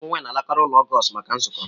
Ụmụ nwanyị na alakari ụlọ Augustl maka nzukọ.